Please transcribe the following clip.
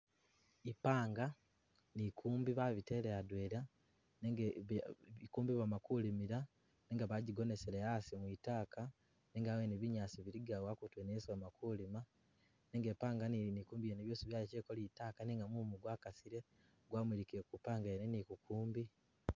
Ipanga ne inkumbi babitele adwena nenga inkumbi bama kulimila nenga bajikonesele asi kwitaaka nenga awene binyaasi bilikawo abutu wene isi bama kulima nenga ipanga ne ne inkumbi basigaaleko litaaka nenga mumu gwa kasile gwamulikile ku ipanga yene ne inkumbi.